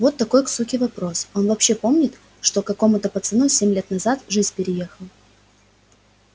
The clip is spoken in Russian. вот какой к суке вопрос он вообще помнит что какому-то пацану семь лет назад жизнь переехал